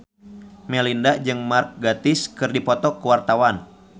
Melinda jeung Mark Gatiss keur dipoto ku wartawan